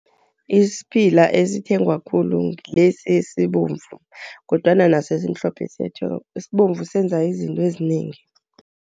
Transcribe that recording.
Isiphila esithengwa khulu ngilesi esibomvu, kodwana naso esimhlophe siyathengwa. Esibomvu senza izinto ezinengi.